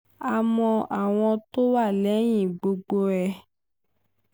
a mọ àwọn tó wà lẹ́yìn gbogbo ẹ̀